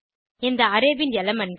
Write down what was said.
இந்த அரே ன் elementகள்